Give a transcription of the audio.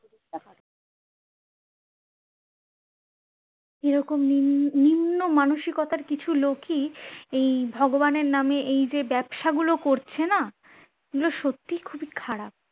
এরকম নি~নিম্ন মানসিকতার কিছু লোকই এই ভগবানের নামে এই যে ব্যবসা গুলো করছে না এইগুলো সত্যই খুবই খারাপ